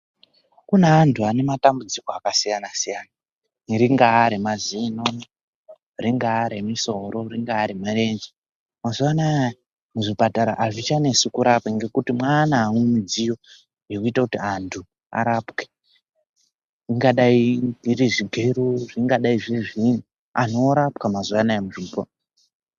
Kune antu ane matambudziko akasiyana siyana ringaa remazino, ringaa remusoro, ringaa remurenje. Mazuwanaya muzvipatara hazvichanetsi kurapa ngekuti mwane ane midziyo yekuita kuti antu arapwe zvingadai zviri zvigero zvingadai zviri zviini antu orapwa mazuwanaya muzvimba.